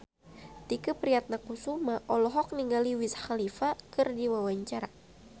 Tike Priatnakusuma olohok ningali Wiz Khalifa keur diwawancara